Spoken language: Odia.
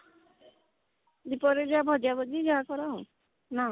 ଦି ପହରେ ଯାହା ଭଜା ଭଜି ଏୟା କର ନାଁ